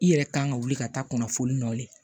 I yɛrɛ kan ka wuli ka taa kunnafoli nɔ de